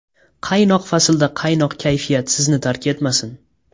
Qaynoq faslda quvnoq kayfiyat sizni tark etmasin.